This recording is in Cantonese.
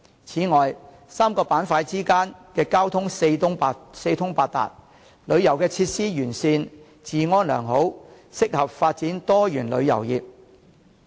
此外 ，3 個板塊之間的交通四通八達、旅遊設施完善、治安良好，適合發展多元旅遊業。